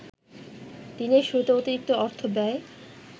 দিনের শুরুতে অতিরিক্ত অর্থব্যয়